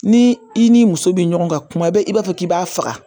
Ni i ni muso be ɲɔgɔn ka kuma bɛɛ i b'a fɔ k'i b'a faga